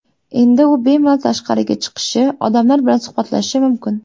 Endi u bemalol tashqariga chiqishi, odamlar bilan suhbatlashishi mumkin.